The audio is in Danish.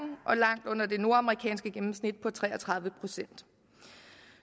og langt under det nordamerikanske gennemsnit på tre og tredive procent